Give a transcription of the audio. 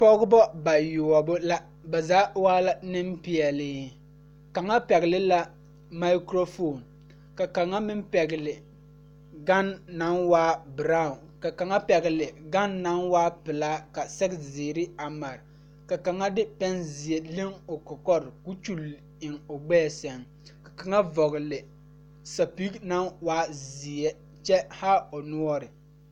Pɔgebɔ bayoɔbo la ba zaa waa la Neŋpeɛɛle kaŋa pɛgle la mikrofoon ka kaŋa meŋ pɛgle gan naŋ waa braawn ka kaŋa pɛgle gan naŋ waa pelaa ka sɛgezeere a mare mare ka kaŋa de pɛnzeɛ o kɔkɔre ko kyule eŋ o gbɛɛ seŋ kyɛ ka kaŋa vɔgle sapige naŋ waa zeɛ kyɛ haa o noɔre